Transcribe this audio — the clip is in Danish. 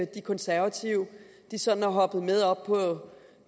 de konservative sådan er hoppet med op på